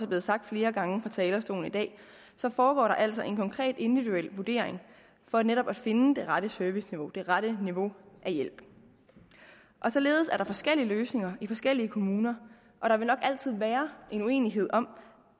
blevet sagt flere gange fra talerstolen i dag foregår der altså en konkret individuel vurdering for netop at finde det rette serviceniveau det rette niveau af hjælp således er der forskellige løsninger i forskellige kommuner og der vil nok altid være uenighed om